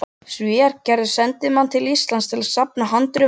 Svíar gerðu sendimann til Íslands að safna handritum, ævintýramanninn